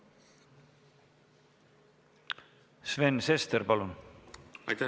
Sven Sester, palun!